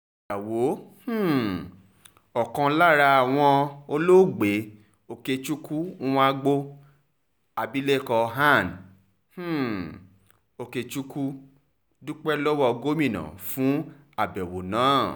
yàwó um ọ̀kan lára wọn olóògbé okechukwu nwagboo abilékọ ann um okechukwu dúpẹ́ lọ́wọ́ gómìnà fún àbẹ̀wò náà